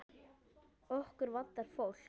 Okkur vantar fólk.